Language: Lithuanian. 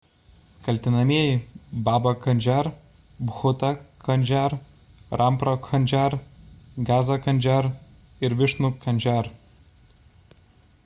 kaltinamieji baba kanjar bhutha kanjar rampro kanjar gaza kanjar ir višnu kanjar